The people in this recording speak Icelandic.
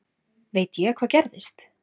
Veit ég hvað gerðist?